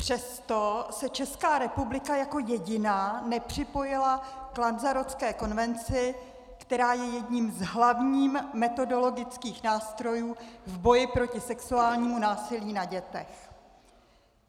Přesto se Česká republika jako jediná nepřipojila k Lanzarotské konvenci, která je jedním z hlavních metodologických nástrojů v boji proti sexuálnímu násilí na dětech.